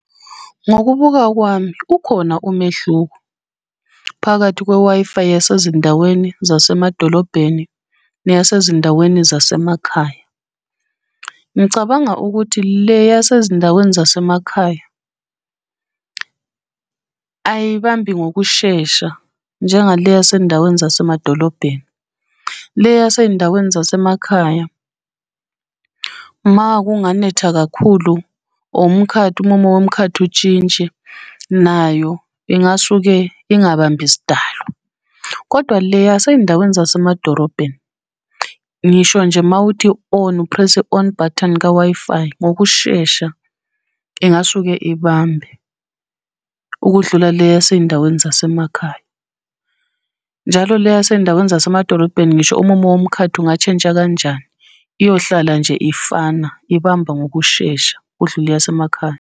Ngokubuka kwami ukhona umehluko, phakathi kwe-Wi-Fi yasezindaweni zasemadolobheni neyasezindaweni zasemakhaya. Ngicabanga ukuthi le yasezindaweni zasemakhaya, ayibambi ngokushesha njenga le yasendaweni zasemadolobheni. Le yasey'ndaweni zasemakhaya, uma kunganetha kakhulu or umkhathi, umumo womkhathi utshintshe, nayo ingasuke ingabambi sidalo. Kodwa le yasey'ndaweni zasemadorobheni, ngisho nje mawuthi on, uphrese on button ka-Wi-Fi ngokushesha ingasuke ibambe ukudlula le yasey'ndaweni zasemakhaya. Njalo le yasey'ndaweni zasemadolobheni ngisho umumo womkhathi ungatshentsha kanjani, iyohlala nje ifana ibamba ngokushesha kudlule eyasemakhaya.